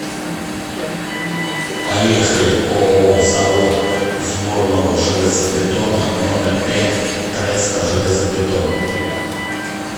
поехали ооо завод сборного железобетона номер пять треста железобетон